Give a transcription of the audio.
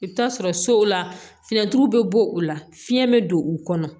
I bɛ t'a sɔrɔ sow la fiɲɛturu bɛ bɔ o la fiyɛn bɛ don u kɔnɔ